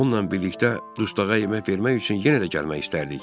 onunla birlikdə dustağa yemək vermək üçün yenə də gəlmək istərdik.